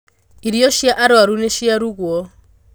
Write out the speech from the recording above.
Irio cia arwaru nĩciarugwo.